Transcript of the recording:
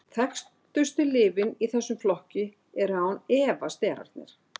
þekktustu lyfin í þessum flokki eru án efa sterarnir